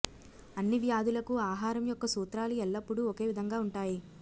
అన్ని వ్యాధులకు ఆహారం యొక్క సూత్రాలు ఎల్లప్పుడూ ఒకే విధంగా ఉంటాయి